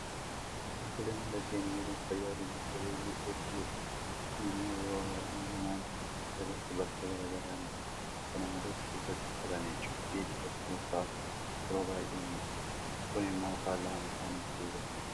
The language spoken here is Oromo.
Qulqullina lageenii eeguun fayyaa lubbu qabeeyyii eeguu jechuudha. Kun immoo yeroo baay'ee namoonni lagatti balfa garaa garaa gatu. Kana malees keessatti uffata miiccuufi dhiqachuu fa'aatu yeroo baay'ee mul'ata. Kun immoo faalama bishaanii fiduu danda'a.